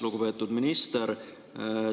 Lugupeetud minister!